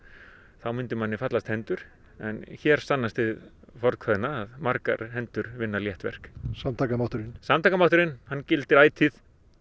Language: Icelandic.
þá myndi manni fallast hendur en hér sannast hið fornkveðna að margar hendur vinna létt verk samtakamátturinn samtakamátturinn hann gildir ætíð